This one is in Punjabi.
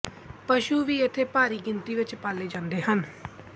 ਪਸ਼ੂ ਵੀ ਇਥੇ ਭਾਰੀ ਗਿਣਤੀ ਵਿੱਚ ਪਾਲੇ ਜਾਂਦੇ ਹਨ